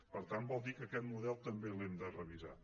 per tant vol dir que aquest model també l’hem de revisar